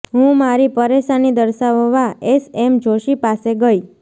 હું મારી પરેશાની દર્શાવવા એસ એમ જોશી પાસે ગઇ